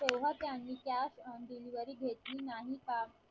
तेव्हा त्यांनी cash on delivery घेतली नाही का